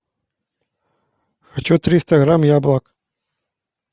хочу триста грамм яблок